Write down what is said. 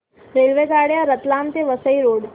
रेल्वेगाड्या रतलाम ते वसई रोड